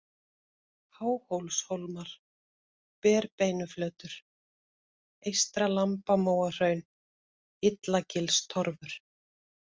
Háhólshólmar, Berbeinuflötur, Eystra-Lambamóahraun, Illagilstorfur